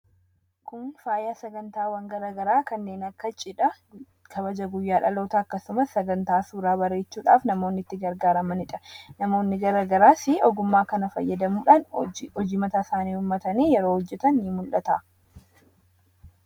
kun faayaa sagantaawwan garagaraa kanneen akka cidha kabaja guyyaa dhaloota akkasumas sagantaa suuraa bareechuudhaaf namoonni itti gargaaramanidha namoonni garagaraas ogummaa kana fayyadamuudhaan hojii mataa isaanii uummatanii yeroo hojjetan ni mul'ata